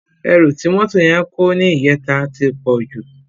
Èrú ti mótó yèn kó nijètá ti pòjú